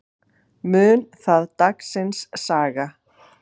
Mun það dagsins saga.